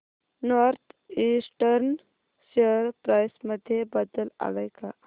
north eastern share price मध्ये बदल आलाय का